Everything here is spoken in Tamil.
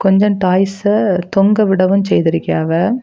கொஞ்ஜோ டாய்ஸ்சு தொங்க விடவும் செய்திருக்கியாவெ.